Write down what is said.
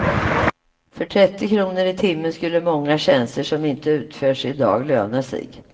För trettio kronor i timmen skulle många tjänster som inte utförs i dag löna sig.